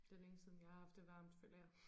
Det længe siden jeg har haft det varmt føler jeg